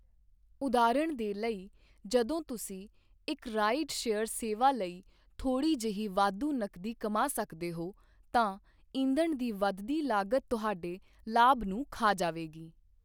ਉਦਾਹਰਣ ਦੇ ਲਈ, ਜਦੋਂ ਤੁਸੀਂ ਇੱਕ ਰਾਈਡ ਸ਼ੇਅਰ ਸੇਵਾ ਲਈ ਥੋੜ੍ਹੀ ਜਿਹੀ ਵਾਧੂ ਨਕਦੀ ਕਮਾ ਸਕਦੇ ਹੋ, ਤਾਂ ਈਂਧਣ ਦੀ ਵਧਦੀ ਲਾਗਤ ਤੁਹਾਡੇ ਲਾਭ ਨੂੰ ਖਾ ਜਾਵੇਗੀ।